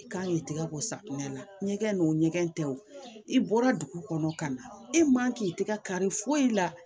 I kan k'i tɛgɛ bɔ safunɛ na ɲɛgɛn n'o ɲɛgɛn tɛ o i bɔra dugu kɔnɔ ka na e man k'i tɛgɛ kari foyi la